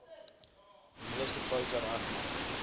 meeste foute regmaak